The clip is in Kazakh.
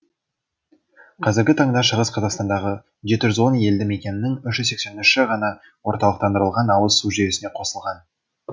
қазіргі таңда шығыс қазақстандағы жеті жүз он елді мекеннің үш жүз сексенінші ғана орталықтандырылған ауыз су жүйесіне қосылған